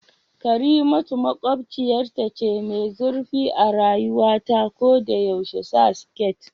Karimatu makwabciyarta ce mai zurfi a rayuwa ta ko da yaushe sa skit